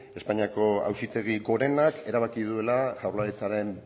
espainiako auzitegi gorenak erabaki duela jaurlaritzaren